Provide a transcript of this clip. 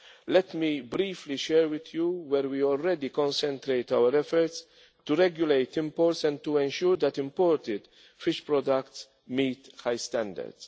the EU. Let me briefly share with you where we already concentrate our efforts to regulate imports and to ensure that imported fish products meet high standards.